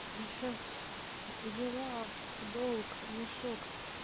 я сейчас взяла в долг мешок